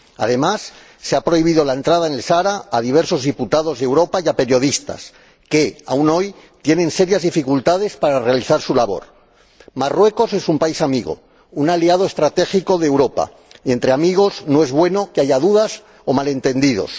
Además, se ha prohibido la entrada en el Sáhara a diversos diputados de Europa y a periodistas que, aún hoy, tienen serias dificultades para realizar su labor. Marruecos es un país amigo, un aliado estratégico de Europa, y entre amigos no es bueno que haya dudas o malentendidos.